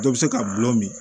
Dɔ bɛ se ka gulɔ min